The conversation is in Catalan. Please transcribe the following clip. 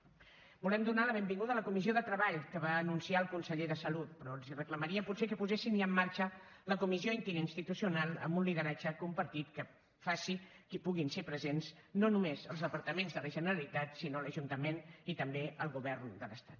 volem donar la benvinguda a la comissió de treball que va anunciar el conseller de salut però els reclamaria potser que posessin ja en marxa la comissió interinstitucional amb un lideratge compartit que faci que hi puguin ser presents no només els departaments de la generalitat sinó l’ajuntament i també el govern de l’estat